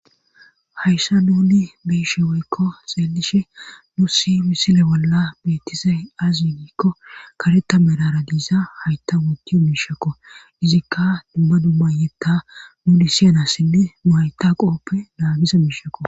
Hayssa nuni biishe weykko xeelishe nu si misile bolla beetise azi yigikko kareta merara diiza hayta woti u mishekko izikka dumma dummayeta nuni siyanassinne nu hayta qooppe naagisa miishakko.